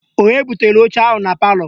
Onye butere oche ahụ na palọ?